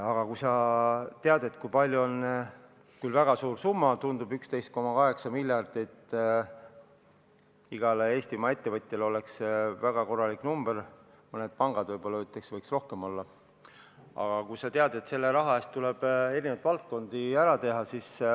Aga kuigi 11,8 miljardit tundub väga suure summana, igale Eestimaa ettevõtjale oleks see väga korralik summa , tead sa, et selle raha eest tuleb paljusid valdkondi rahastada.